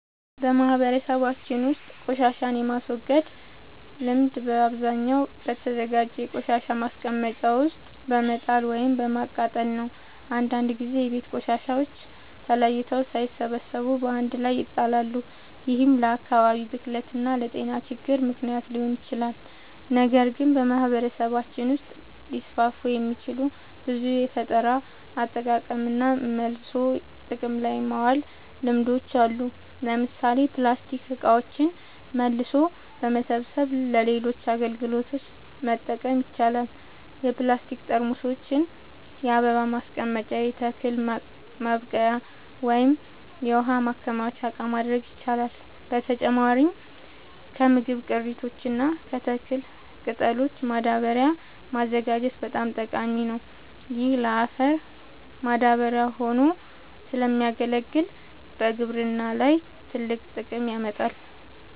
በማህበረሰባችን ውስጥ ቆሻሻን የማስወገድ ልምድ በአብዛኛው በተዘጋጀ የቆሻሻ ማስቀመጫ ውስጥ በመጣል ወይም በማቃጠል ነው። አንዳንድ ጊዜ የቤት ቆሻሻዎች ተለይተው ሳይሰበሰቡ በአንድ ላይ ይጣላሉ፤ ይህም ለአካባቢ ብክለት እና ለጤና ችግሮች ምክንያት ሊሆን ይችላል። ነገር ግን በማህበረሰባችን ውስጥ ሊስፋፉ የሚችሉ ብዙ የፈጠራ አጠቃቀምና መልሶ ጥቅም ላይ ማዋል ልምዶች አሉ። ለምሳሌ ፕላስቲክ እቃዎችን መልሶ በመሰብሰብ ለሌሎች አገልግሎቶች መጠቀም ይቻላል። የፕላስቲክ ጠርሙሶችን የአበባ ማስቀመጫ፣ የተክል ማብቀያ ወይም የውሃ ማከማቻ እቃ ማድረግ ይቻላል። በተጨማሪም ከምግብ ቅሪቶች እና ከተክል ቅጠሎች ማዳበሪያ ማዘጋጀት በጣም ጠቃሚ ነው። ይህ ለአፈር ማዳበሪያ ሆኖ ስለሚያገለግል በግብርና ላይ ትልቅ ጥቅም ያመጣል።